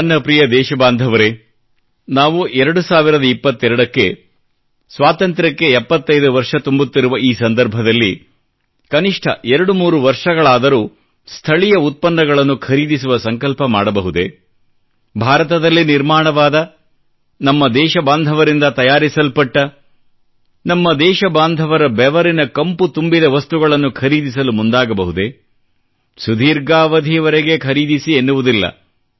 ನನ್ನ ಪ್ರಿಯ ದೇಶಬಾಂಧವರೆ ನಾವು 2022 ಕ್ಕೆ ಸ್ವಾತಂತ್ಯಕ್ಕೆ 75ವರ್ಷ ತುಂಬುತ್ತಿರುವ ಈ ಸಂದರ್ಭದಲ್ಲಿ ಕನಿಷ್ಠ 23 ವರ್ಷಗಳಾದರೂ ಸ್ಥಳೀಯ ಉತ್ಪನ್ನಗಳನ್ನು ಖರೀದಿಸುವ ಸಂಕಲ್ಪ ಮಾಡಬಹುದೇ ಭಾರತದಲ್ಲಿ ನಿರ್ಮಾಣವಾದ ನಮ್ಮ ದೇಶಬಾಂಧವರಿಂದ ತಯಾರಿಸಲ್ಪಟ್ಟ ನಮ್ಮ ದೇಶಬಾಂಧವರ ಬೆವರಿನ ಕಂಪು ತುಂಬಿದ ವಸ್ತುಗಳನ್ನು ಖರೀದಿಸಲು ಮುಂದಾಗಬಹುದೇ ಸುದೀರ್ಘಾವಧಿವರೆಗೆ ಖರೀದಿಸಿ ಎನ್ನುವುದಿಲ್ಲ